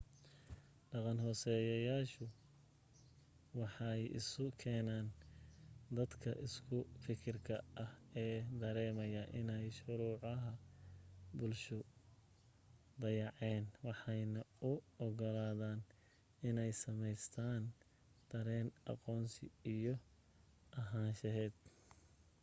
dhaqan-hoosaadyadu waxay isu keenaan dadka isku fikirka ah ee dareemaya inay shuruucaha bulshadu dayaceen waxaanay u ogolaadaan inay samaystaan dareen aqoonsi iyo ahaansheed